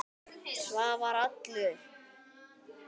Svavar allur.